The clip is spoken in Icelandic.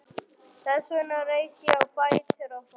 Þess vegna reis ég á fætur og fór.